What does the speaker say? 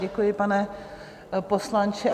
Děkuji, pane poslanče.